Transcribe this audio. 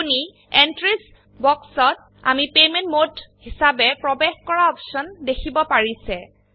আপোনি এন্ট্ৰিস বক্সতআমি payment mode হিসাবেপ্ৰবেশ কৰাঅপশন দেখিব পাৰিছে